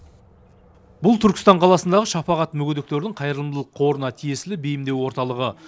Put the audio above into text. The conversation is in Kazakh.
бұл түркістан қаласындағы шапағат мүгедектердің қайырымдылық қорына тиесілі бейімдеу орталығы